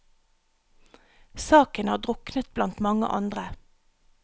Saken har druknet blant mange andre.